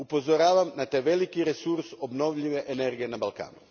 Upozoravam na taj veliki resurs obnovljive energije na Balkanu.